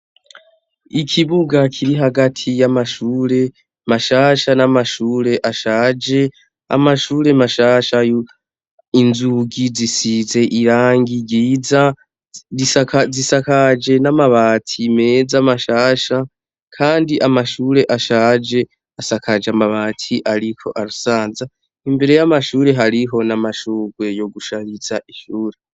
Ikibuga kiri hagati y'amashure mashasha n'amashure ashaje, amashure mashasha yo inzugi zisize irangi ryiza zisakaje n'amabati meza mashasha, kandi amashure ashaje asakaje amabati ariko arasaza, imbere y'amashure hariho n'amashurwe yo gushariza ishure.